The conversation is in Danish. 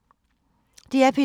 DR P2